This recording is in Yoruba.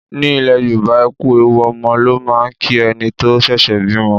Ní ilẹ̀ Yorùbá, ẹ kú ewu ọmọ ló máà ń kí ẹni tó ṣẹ̀ṣẹ̀ bímọ.